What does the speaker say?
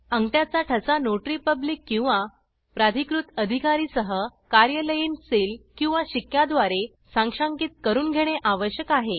अंगठ्याचा ठसा notary public किंवा प्राधिकृत अधिकारी सह कार्यालयीन सील किंवा शिक्क्या द्वारे साक्षांकीत करून घेणे आवश्यक आहे